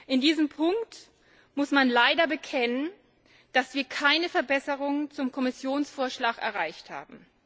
In diesem Punkt muss man leider bekennen, dass wir keine Verbesserung zum Kommissionsvorschlag erreicht haben.